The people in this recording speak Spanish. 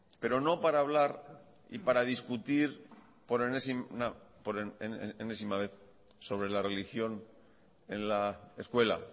pero no para hablar y para discutir por enésima vez sobre la religión en la escuela